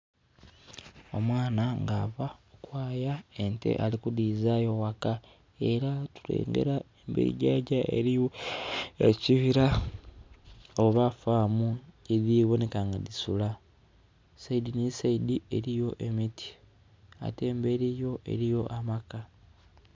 Omwana nga ava kwaya ente ali kudizayo waka era tulengera emberi yajja eriyo ekibira oba farmu yediboneka nga disula. Saidi ni saidi eriyo emiti ate emberi yo eriyo amaka